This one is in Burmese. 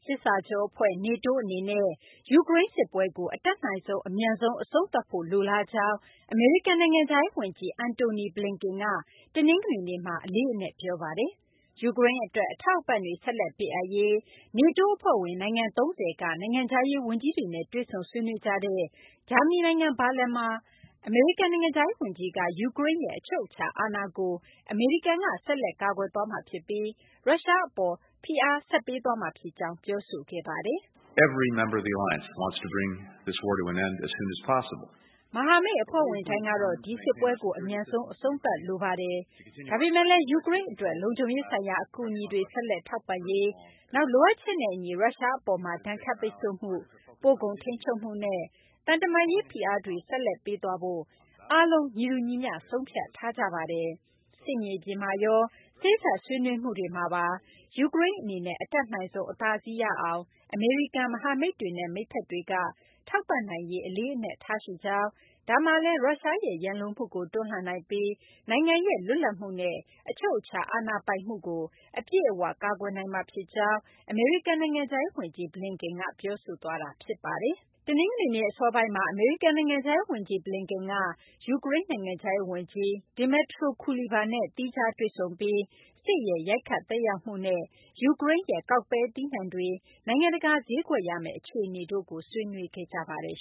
စစ်စာချုပ်အဖွဲ့ (NATO) အနေနဲ့ ယူကရိန်းစစ်ပွဲကို အတတ်နိုင်ဆုံး အမြန်ဆုံး အဆုံးသတ်ဖို့ လိုလားကြောင်း အမေရိကန် နိုင်ငံခြားရေးဝန်ကြီး Antony Blinken က တနင်္ဂနွေနေ့မှာ အလေးအနက် ပြောဆိုပါတယ်။ ယူကရိန်းအတွက် အထောက်အပံ့တွေ ဆက်လက်ပေးအပ်ရေး NATO အဖွဲ့ဝင် နိုင်ငံ ၃၀ က နိုင်ငံခြားရေးဝန်ကြီးတွေနဲ့ တွေ့ဆုံဆွေးနွေးကြတဲ့ ဂျာမနီနိုင်ငံ ဘာလင်မှာ အမေရိကန် နိုင်ငံခြားရေးဝန်ကြီးက ယူကရိန်းရဲ့ အချုပ်အခြာအာဏာကို အမေရိကန်က ဆက်လက်ကာကွယ်သွားမှာဖြစ်ပြီး ရုရှားအပေါ် ဖိအားတွေ ဆက်ပေးသွားမှာ ဖြစ်ကြောင်း ပြောဆိုခဲ့တာပါ။ “မဟာမိတ်အဖွဲ့ဝင်တိုင်းကတော့ ဒီစစ်ပွဲကို အမြန်ဆုံး အဆုံးသတ်လိုပါတယ်။ ဒါပေမဲ့လည်း ယူကရိန်းအတွက် လုံခြုံရေးဆိုင်ရာ အကူအညီတွေ ဆက်လက်ထောက်ပံ့ရေး၊ နောက် လိုအပ်ချက်နဲ့အညီ ရုရှားအပေါ်မှာ ဒဏ်ခတ်ပိတ်ဆို့မှု၊ ပို့ကုန်ထိန်းချုပ်မှုနဲ့ သံတမန်ရေး ဖိအားတွေကိုလည်း ဆက်လက်ပေးသွားဖို့ ကျနော်တို့အားလုံး ညီတူညီမျှ ဆုံးဖြတ်ထားကြပါတယ်။ စစ်မြေပြင်မှာရော စေ့စပ်ဆွေးနွေးမှုတွေမှာပါ ယူကရိန်းအနေနဲ့ အတတ်နိုင်ဆုံး အသာစီးရအောင် အမေရိကန်၊ မဟာမိတ်တွေနဲ့ မိတ်ဘက်တွေက ထောက်ပံ့နိုင်ရေး အလေးအနက်ထားရှိကြောင်း၊ ဒါမှလည်း ရုရှားရဲ့ ရန်လိုမှုကို တွန်းလှန်နိုင်ပြီး နိုင်ငံရဲ့ လွတ်လပ်မှုနဲ့ အချုပ်အခြာ အာဏာပိုင်မှုကို အပြည့်အဝ ကာကွယ်နိုင်မှာဖြစ်ကြောင်း” အမေရိကန် နိုင်ငံခြားရေးဝန်ကြီး Blinken က ပြောဆိုခဲ့တာပါ။ တနင်္ဂနွေနေ့ အစောပိုင်းမှာ အမေရိကန် နိုင်ငံခြားရေးဝန်ကြီး Blinken က ယူကရိန်း နိုင်ငံခြားရေးဝန်ကြီး Dmytro Kuleba နဲ့ သီးခြားတွေ့ဆုံပြီး စစ်ရဲ့ ရိုက်ခတ် သက်ရောက်မှုနဲ့ ယူကရိန်းရဲ့ ကောက်ပဲသီးနှံတွေ နိုင်ငံတကာ ဈေးကွက်ရမယ့် အခြေအနေတို့ကိုလည်း ဆွေးနွေးခဲ့ကြပါတယ်